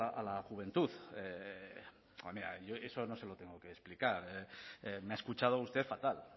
a la juventud yo eso no se lo tengo que explicar me ha escuchado usted fatal